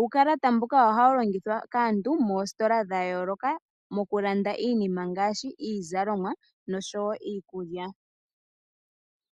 uukalata mbuka ohawu longithwa kaantu moositola dha yooloka mokulanda iinima ngaashi iizalomwa niikulya.